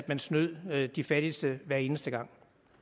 man snød de fattigste hver eneste gang